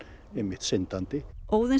syndandi